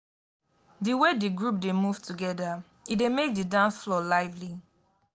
di way di group dey move together e dey make di dance floor lively.